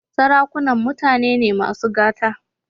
Sarakunan mutane ne masu gata.